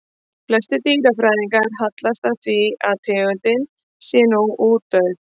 Flestir dýrafræðingar hallast að því að tegundin sé nú útdauð.